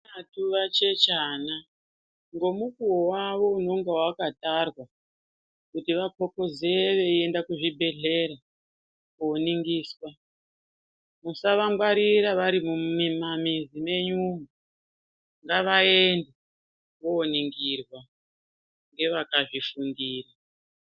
Vana veshe vachechana ngemukuwo wawo unonga wakatarwa kuti kopoze veienda kuzvibhedhleya koningiswa musavangwarira vari mumamizi menyumwo ngavaende voningirwa ngevakazvifundira.